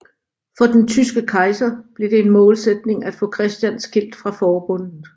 For den tyske kejser blev det en målsætning at få Christian skilt fra forbundet